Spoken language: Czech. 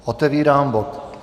Otevírám bod